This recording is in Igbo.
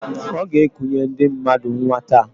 Ọ g'ekunye ndị mmadụ nnwa taa.